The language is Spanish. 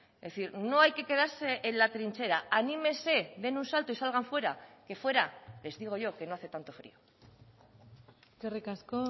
es decir no hay que quedarse en la trinchera anímese den un salto y salgan fuera que fuera les digo yo que no hace tanto frío eskerrik asko